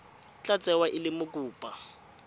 tla tsewa e le mokopa